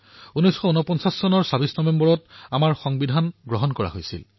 ২৬ November ১৯৪৯ চনত আমাৰ সংবিধান গৃহীত হৈছিল